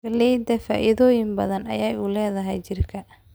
Galleyda faa'iidooyin badan ayay u leedahay jirka